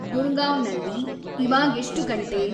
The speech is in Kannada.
ಗುರ್ಗಾಂವ್‌ನಲ್ಲಿ ಇವಾಗೆಷ್ಟು ಗಂಟೆ